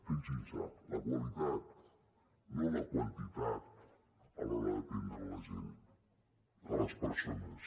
fixin se la qualitat no la quantitat a l’hora d’atendre la gent les persones